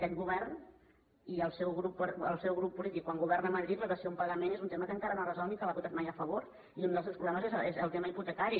aquest govern i el seu grup polític quan governa a madrid la dació en pagament és un tema que encara no ha resolt ni l’ha votat mai a favor i un dels greus problemes és el tema hipotecari